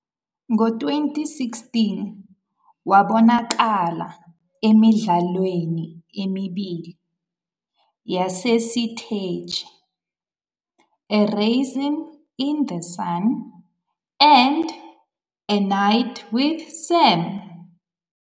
Ngo-2016, wabonakala emidlalweni emibili yasesiteji- "A Raisin in the Sun" and "A Night with Sam."